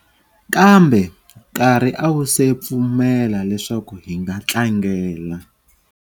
Kambe nkarhi a wuse pfumela leswaku hi nga tlangela.